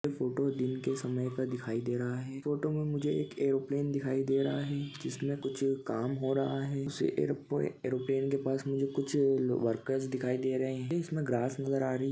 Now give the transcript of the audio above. photo दिन के समय का दिखाई दे रहा हैफोटो मे मुझे एक एरोप्लेन दिखाई दे रहा है जिसमे कुछ काम हो रहा है उसे एरोप्लेन के पास कुछ वरकर दिखाये दे रहे है इसमे ग्रास नजर आ रही--